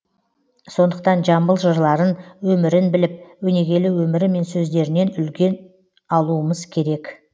сондықтан жамбыл жырларын өмірін біліп өнегелі өмірі мен сөздерінен үлгі алуымыз керек